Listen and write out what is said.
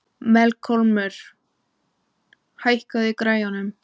Melkólmur, hækkaðu í græjunum.